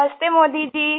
नमस्ते मोदी जी